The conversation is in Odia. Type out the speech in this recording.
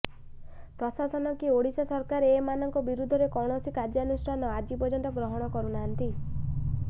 ପ୍ରଶାସନ କି ଓଡିଶା ସରକାର ଏ ମାନଙ୍କ ବିରୁଦ୍ଧରେ କୌଣସି କାର୍ୟ୍ୟାନୁଷ୍ଠାନ ଆଜି ପର୍ୟ୍ୟନ୍ତ ଗ୍ରହଣ କରୁନାହିଁ